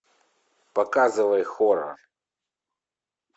показывай хоррор